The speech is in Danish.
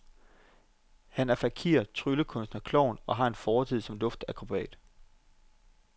Han er fakir, tryllekunstner, klovn og har en fortid som luftakrobat.